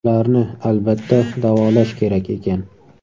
Ularni, albatta, davolash kerak ekan.